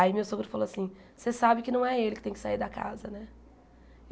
Aí meu sogro falou assim, você sabe que não é ele que tem que sair da casa, né?